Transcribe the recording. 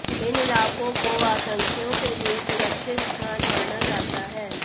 इन इलाकों को आतंकियों के लिए सुरक्षित स्थान माना जाता है